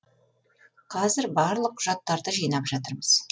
қазір барлық құжаттарды жинап жатырмыз